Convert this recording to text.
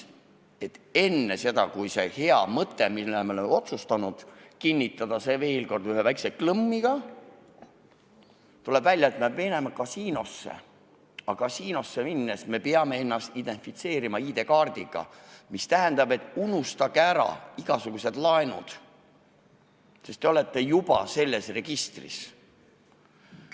Enne seda, kui seda head mõtet, mille me oleme ära otsustanud, kinnitada veel ühe väikese klõmmiga, tuleb välja, et peab minema kasiinosse, aga kasiinosse minnes me peame ennast identifitseerima ID-kaardiga, mis tähendab, et unustage ära igasugused laenud, sest te olete juba registris.